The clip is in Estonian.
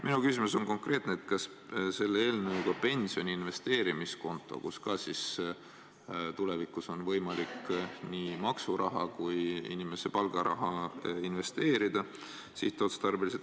Minu küsimus puudutab konkreetselt pensioni investeerimiskontot, kuhu tulevikus on võimalik nii maksuraha kui ka inimese palgaraha sihtotstarbeliselt investeerida.